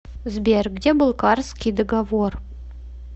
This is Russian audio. сбер где был карсский договор